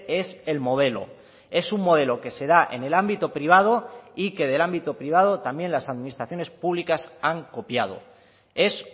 es el modelo es un modelo que se da en el ámbito privado y que del ámbito privado también las administraciones públicas han copiado es